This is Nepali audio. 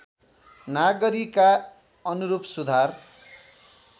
नागरीका अनुरूप सुधार